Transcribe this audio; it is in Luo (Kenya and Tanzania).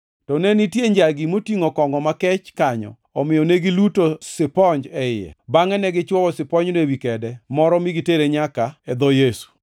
To ne nitie njagi motingʼo kongʼo makech kanyo, omiyo ne giluto siponj e iye bangʼe ne gichwoyo siponjno ewi kede moro mi gitere nyaka e dho Yesu.